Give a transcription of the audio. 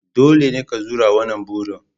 Dole ne ka zura wannan burin